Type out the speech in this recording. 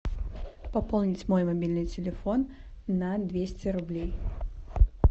пополнить мой мобильный телефон на двести рублей